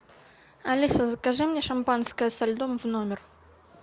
алиса закажи мне шампанское со льдом в номер